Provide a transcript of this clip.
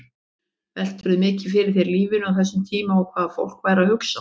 Veltirðu mikið fyrir þér lífinu á þessum tíma og hvað fólk væri að hugsa?